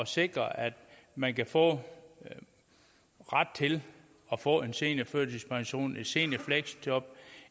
sikre at man kan få ret til at få en seniorførtidspension et seniorfleksjob